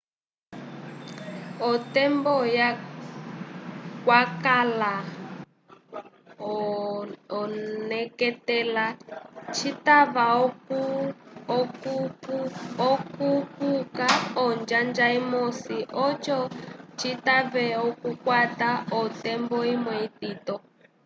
otembo kwakala oneketela citava okukupuka onjanja imosi oco citave okukwata otembo imwe itito